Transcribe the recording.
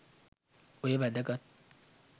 ඔය වැදගත්